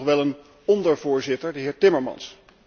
Het is nog wel een ondervoorzitter, de heer Timmermans.